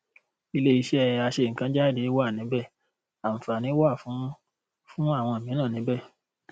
ilé iṣẹ aṣẹnǹkanjáde wà níbẹ àǹfààní wa fún fún àwọn mìíràn níbẹ